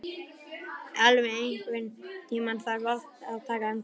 Elvi, einhvern tímann þarf allt að taka enda.